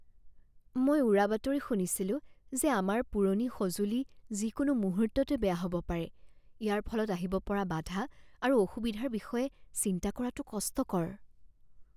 মই উৰাবাতৰি শুনিছিলো যে আমাৰ পুৰণি সঁজুলি যিকোনো মুহূৰ্ততে বেয়া হ'ব পাৰে। ইয়াৰ ফলত আহিব পৰা বাধা আৰু অসুবিধাৰ বিষয়ে চিন্তা কৰাটো কষ্টকৰ।